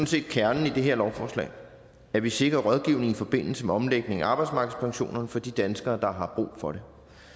set kernen i det her lovforslag at vi sikrer rådgivning i forbindelse med omlægning af arbejdsmarkedspensioner for de danskere der har brug for det